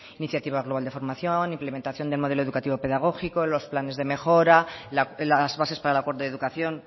iniciativa global de formación implementación de modelo educativo pedagógico los planes de mejora las bases para el acuerdo de educación